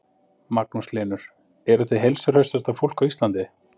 Magnús Hlynur: Eruð þið heilsuhraustasta fólk á Íslandi?